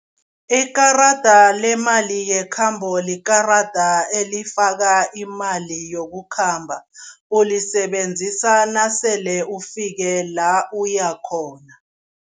Ikarada lemali yekhambo likarada elifaka imali yokukhamba, ulisebenzisa nasele ufike la uyakhona.